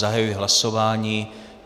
Zahajuji hlasování.